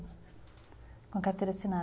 Com carteira assinada.